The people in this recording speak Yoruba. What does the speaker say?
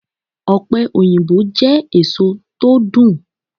Ọpẹ-oyinbo jẹ́ èso tó dùn.